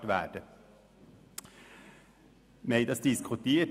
Darüber haben wir diskutiert.